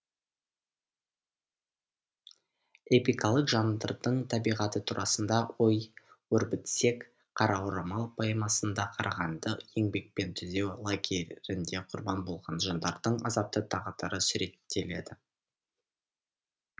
эпикалық жанрдың табиғаты турасында ой өрбітсек қара орамал поэмасында қарағанды еңбекпен түзеу лагерінде құрбан болған жандардың азапты тағдыры суреттеледі